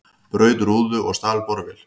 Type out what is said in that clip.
Braut rúðu og stal borvél